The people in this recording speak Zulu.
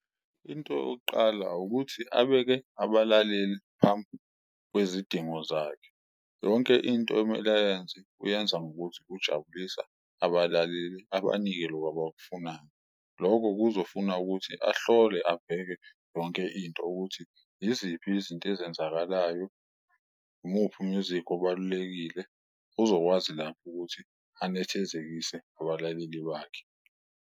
Into yokuqala ukuthi abeke abalaleliphambi kwezidingo zakhe, yonke into emele ayenze uyenza ngokuthi ujabulisa abalaleli abanike loko abakufunayo, loko kuzofuna ukuthi ahlole abheke yonke into ukuthi iziphi izinto ezenzakalayo. Umuphi u-music obalulekile uzokwazi lapho ukuthi anethezekise abalaleli bakhe.